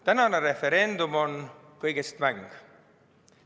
Täna arutatav referendum on kõigest mäng.